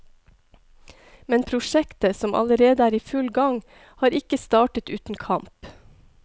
Men prosjektet, som allerede er i full gang, har ikke startet uten kamp.